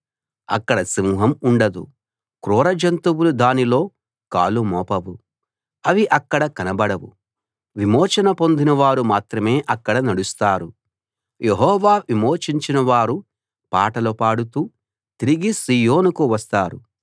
అక్కడ సింహం ఉండదు క్రూర జంతువులు దానిలో కాలు మోపవు అవి అక్కడ కనబడవు విమోచన పొందినవారు మాత్రమే అక్కడ నడుస్తారు యెహోవా విమోచించినవారు పాటలు పాడుతూ తిరిగి సీయోనుకు వస్తారు